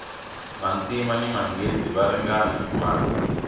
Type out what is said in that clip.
vantima ni manghezi va ringana hi mali